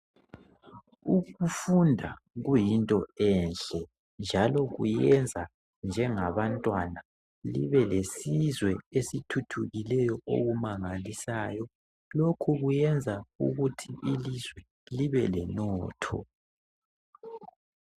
Ukufunda kuyinto enhle njalo kuyenza njengabantwana libe lesizwe esithuthukileyo okumangalisayo. Lokhu kuyenza ukuthi ilizwe libe lenotho. .